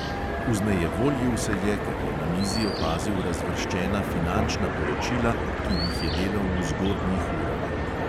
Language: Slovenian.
Vznejevoljil se je, ker je na mizi opazil razvrščena finančna poročila, ki jih je delal v zgodnjih urah.